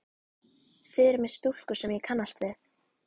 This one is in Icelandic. Þið eruð með stúlku sem ég kannast við!